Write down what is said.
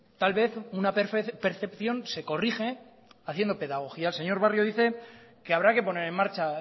tal vez una percepción se corrige haciendo pedagogía el señor barrio dice que habrá que poner en marcha